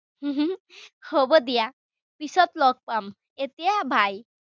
হ'ব দিয়া। পিছত লগ পাম। এতিয়া bye